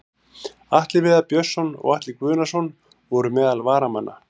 Atli Viðar Björnsson og Atli Guðnason voru meðal varamanna.